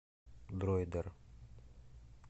дройдер